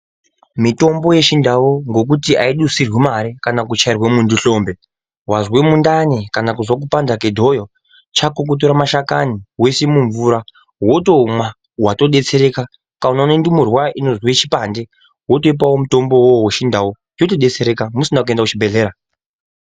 Mitombo yechindau ngekuti ayidusirwi mare kana kuchairwa muntu hlombe, wazwe mundani kana kupanda kwedhoyo chako kutora mashakani woisa mumvura wotomwa watodetsereka. Unoone ndumurwa inozwe chipande wotoipawo mutombowo wechindau yotodetsereka musina kuenda kuchibhehlera.